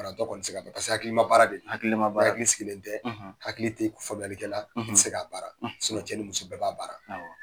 hakilima baara de don n'ihakili sigilen tƐ hakili t'i kun ti faamuyali kƐla i te se k'a baara cƐ ni muso bɛɛ b'a baara.